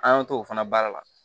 An y'an t'o fana baara la